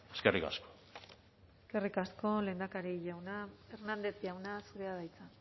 eskerrik asko eskerrik asko lehendakari jauna hernández jauna zurea da hitza